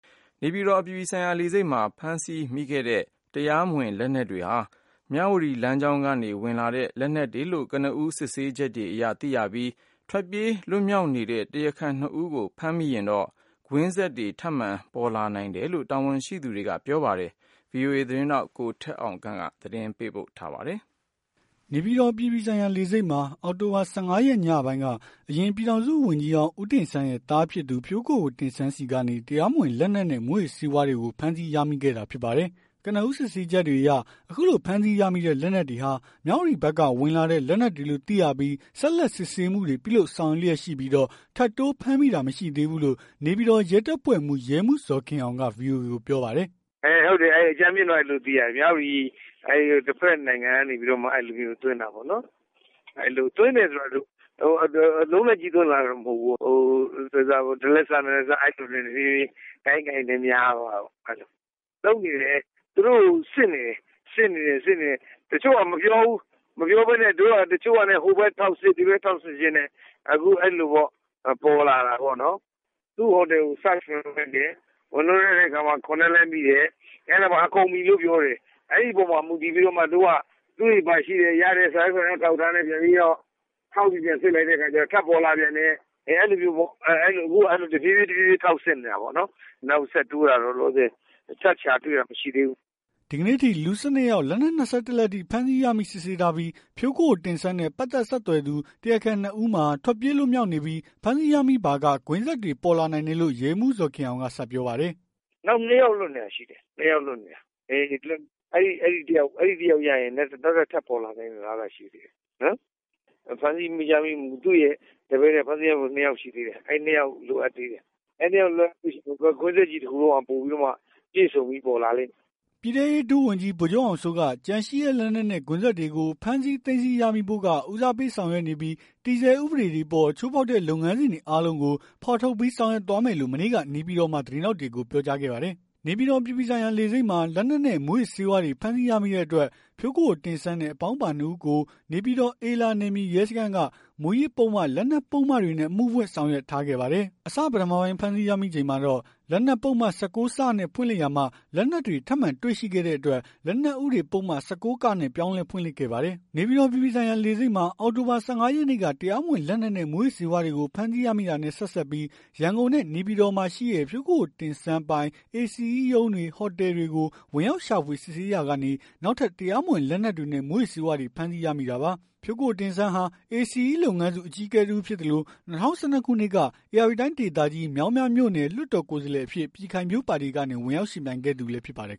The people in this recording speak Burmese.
နေပြည်တော်အပြည်ပြည်ဆိုင်ရာလေဆိပ်မှာ ဖမ်းဆီးရမိတဲ့ တရားမဝင်လက်နက်တွေဟာ မြဝတီလမ်းကြောင်းကနေဝင်လာတဲ့ လက်နက်တွေလို့ ကနဦးစစ်ဆေးချက်အရသိရပြီး ထွက်ပြေးလွတ်မြောက်နေတဲ့ တရားခံ ၂ ဦးကို ဖမ်းမိရင်တော့ ကွင်းဆက်တွေထပ်ပေါ်နိုင်တယ်လို့ တာဝန်ရှိသူတွေကပြောပါတယ်။ အပြည့်အစုံကိုတော့ ဗွီအိုအေမြန်မာပိုင်း သတင်းထောက် ကိုထက်အောင်ခန့်က သတင်းပေးပို့ထားပါတယ်။ နေပြည်တော် အပြည်ပြည်ဆိုင်ရာလေဆိပ်မှာ အောက်တိုဘာ ၁၅ ရက်ညပိုင်းက အရင်ပြည်ထောင်စုဝန်ကြီးဟောင်း ဦးတင့်ဆန်းရဲ့သားဖြစ်သူ ဖြိုးကိုကိုတင့်ဆန်းဆီကနေ တရားမဝင်လက်နက်နဲ့မူးယစ်ဆေးဝါးတွေကို ဖမ်းဆီးရမိခဲ့တာဖြစ်ပါတယ်။ ကနဦးစစ်ဆေးချက်တွေအရ အခုလိုဖမ်းဆီးရမိတဲ့လက်နက်တွေဟာ မြဝတီဘက်က ဝင်လာတဲ့လက်နက်တွေလို့သိရပြီး ဆက်လက်စစ်ဆေးမှုတွေပြုလုပ် ဆောင်ရွက်လျက်ရှိပြီးတော့ ထပ်တိုးဖမ်းမိတာမရှိသေးဘူးလို့ နေပြည်တော်ရဲတပ်ဖွဲ့မှူး ရဲမှူးဇော်ခင်အောင်က VOA ကိုပြောပါတယ်။ “အင်းဟုတ်တယ်။ အကြမ်းဖျင်းတော့အဲ့လိုသိရတယ်။ မြဝတီတဖက်နိုင်ငံနေပြီးတော့သွင်းတာပေါ့နော်။ သွင်းတယ်ဆိုတာဒီလို အလုံးလိုက်ကြီးသွင်းလာ တာတော့မဟုတ်ဘူး။ ဟိုတလက်စနှစ်လက်စနေ တဖြေးဖြေးကိုင်ရင်းကိုင်ရင်းနဲ့များသွားတာပေ့ါ။ လုပ်နေတယ်သူတို့ကိုစစ်နေတယ်။ တချို့ကမပြောဘူး တို့ကလည်းတချို့ဟာ ဟိုဘက်ထောက်စစ်ဒီဘက်ထောက်စစ်ရင်းနဲ့ အခုအဲ့လိုပေါ့ ပေါ်လာတာပေါ့နော်။ သူ့ဟိုတယ်ကစဝင်စစ်တယ်။ ဝင်စစ်တဲ့အခါမှာ ၇ လက်မိတယ်။ အဲ့ဒါမှာကုန်ပြီလို့ပြောတယ်။အဲ့အပေါ်မှာမူတည်ပြီးတော့မှ သူ့ဆီမှာရှိတဲ့စာရွက်စာတမ်းအထောက်အထားနဲ့ ပြန်ပြီးထောက်ပြီးပြန်စစ်လိုက် တဲ့အခါကြတော့ ထပ်ပေါ်လာပြန်တယ်။ အဲ့လိုမျိုးပေါ့အခုတော့တဖြေးဖြေးဖြေးထောက်စစ်နေတာပေါ့။ နောက်ဆက်တိုးတာတော့ ထပ်ရှာတွေ့တာတော့ မရှိသေးဘူး။” ဒီကနေ့အထိ လူ ၁၂ ယောက် လက်နက် ၂၁ လက် အထိ ဖမ်းဆီးရမိစစ်ဆေးထားပြီး ဖြိုးကိုကိုတင့်ဆန်းနဲ့ ပတ်သက် ဆက်သွယ်သူ တရားခံ ၂ ဦးမှာ ထွက်ပြေးလွတ်မြောက်နေပြီး ဖမ်းဆီးရမိပါက ကွင်းဆက်တွေပေါ်လာနိုင်တယ်လို့ ရဲမှူးဇော်ခင်အောင်က ဆက်ပြောပါတယ်။ “နောက် ၂ ယောက်လွတ်နေတာရှိတယ်။ ၂ ယောက်လွတ်နေတာ အဲ့ ၂ယောက်ကိုရရင် နောက်ထပ် ထပ်ပေါ်လာနိုင်တဲ့အလားအလာတွေရှိတယ်နော်။ ဖမ်းဆီးရမိမှု သူရဲ့တပည့်တပန်းတွေထဲ ဖမ်းဆီးရမိဖို့ ၂ ယောက်ရှိသေးတယ်။ အဲ့၂ယောက်လိုအပ်သေးတယ်။ အဲ့ ၂ ယောက်ကိုရရင် ကွင်းဆက်ကြီး တခုလုံးက ပြည့်စုံပြီးပေါ်လာလိမ့်မယ်။” ပြည်ထဲရေးဒုဝန်ကြီး ဗိုလ်ချုပ်အောင်စိုးက ကျန်ရှိတဲ့လက်နက်နဲ့ ကွင်းဆက်တွေကိုဖမ်းဆီးသိမ်းဆည်းရမိဖို့က ဦးစားပေးဆောင်ရွက်နေပြီး တည်ဆဲဥပဒေ တွေအပေါ်ချိုးဖောက်တဲ့လုပ်ငန်းစဉ်တွေအားလုံးကို ဖော်ထုတ်ပြီးဆောင်ရွက်သွားမယ်လို့ မနေ့ကနေပြည်တော်မှာ သတင်းထောက်တွေကို ပြောကြားခဲ့ပါတယ်။ နေပြည်တော်အပြည်ပြည်ဆိုင်ရာလေဆိပ်မှာ လက်နက်နဲ့မူးယစ်ဆေးဝါးတွေဖမ်းဆီးရမိတဲ့အတွက် ဖြိုးကိုကိုတင့်ဆန်းနဲ့အပေါင်းအပါ ၂ ဦးကို နေပြည်တော် အေလာနယ်မြေရဲစခန်းက မူးယစ်ပုဒ်မ လက်နက်ပုဒ်မတွေနဲ့အမှုဖွင့်ဆောင်ရွက်ထားခဲ့ပါတယ်။ အစပထမပိုင်းဖမ်းဆီးရမိချိန်မှာတော့ လက်နက်ပုဒ်မ ၁၉ နဲ့ဖွင့်လှစ်ထားရာမှ လက်နက်တွေထပ်မံတွေ့ရှိတဲ့အတွက် လက်နက်ဥပဒေပုဒ်မ ၁၉ နဲ့ပြောင်းလဲဖွင့်လှစ်ခဲ့ပါတယ်။ နေပြည်တော် အပြည်ပြည်ဆိုင်ရာ လေဆိပ်မှာ အောက်တိုဘာ ၁၅ ရက်နေ့က တရားမဝင်လက်နက်ငယ်နဲ့ မူးယစ်ဆေးဝါးတွေကို ဖမ်းဆီးရမိတာနဲ့ ဆက်စပ်ပြီး၊ ရန်ကုန်နဲ့ နေပြည်တော်မှာရှိတဲ့ ဖြိုးကိုကိုတင့်ဆန်းပိုင် ACE ရုံးတွေ ဟိုတယ်တွေကို ဝင်ရောက်စစ်ဆေးရှာဖွေရာကနေ နောက်ထပ် တရားမဝင်လက်နက်တွေနဲ့ မူးယစ်ဆေးဝါးတွေ ဖမ်းဆီးရမိတာပါ။ ဖြိးကိုကိုတင့်ဆန်းဟာ ACE လုပ်ငန်းစု အကြီးအကဲတဦးဖြစ်သလို၊ ၂၀၁၂ ခုနှစ်က ဧရာဝတီတိုင်းဒေသကြီး မြောင်မြမြို့နယ် လွှတ်တော်ကိုယ်စားလှယ်အဖြစ် ပြည်ခိုင်ဖြိုးပါတီကနေ ဝင်ရောက်ယှဉ်ပြိုင်ခဲ့သူလည်းဖြစ်ပါတယ်